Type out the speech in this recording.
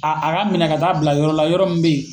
Aa a ka minɛ ka taa bila yɔrɔ la yɔrɔ min be yen